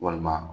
Walima